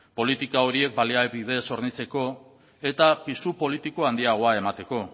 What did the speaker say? politika horiek baliabidez hornitzeko eta pisu politiko handiagoa emateko